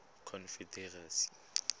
confederacy